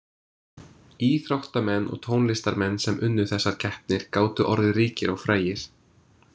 Íþróttamenn og tónlistarmenn sem unnu þessar keppnir gátu orðið ríkir og frægir.